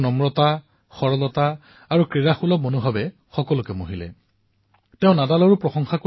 তেওঁৰ বিনম্ৰতা সৰলতা আৰু প্ৰকৃতাৰ্থত খেলুৱৈসূলভ মানসিকতাৰ যি ৰূপ দেখিবলৈ পোৱা গল সকলোৱে যেন মোহান্বিত হৈ পৰিল